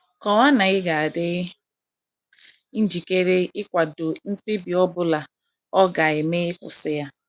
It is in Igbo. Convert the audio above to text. Kọwaa na ịga adi njikere ịkwado mkpebi ọ bụla ọ ga - eme ịkwụsị ya.